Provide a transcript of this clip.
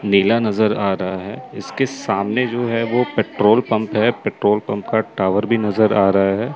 नीला नजर आ रहा है। इसके सामने जो है वह पेट्रोल पंप है। पेट्रोल पंप का टावर भी नजर आ रहा है।